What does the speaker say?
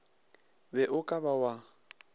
be o ka ba wa